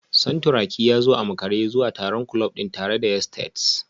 Santuraki ya zo a makare zuwa taron kulob din tare da yesteds